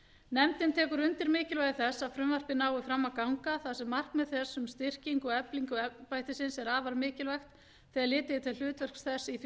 nefndin tekur undir mikilvægi þess að frumvarpið nái fram að ganga þar sem markmið þess um styrkingu og eflingu embættisins er afar mikilvægt þegar litið er til hlutverks þess í því